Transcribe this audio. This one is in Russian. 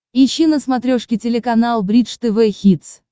ищи на смотрешке телеканал бридж тв хитс